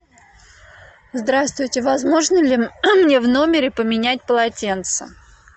здравствуйте возможно ли мне в номере поменять полотенца